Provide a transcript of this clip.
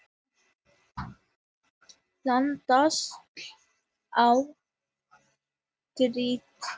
Landslag á tertíer